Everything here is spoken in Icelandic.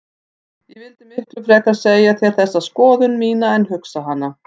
Ég vildi miklu frekar segja þér þessa skoðun mína en hugsa hana.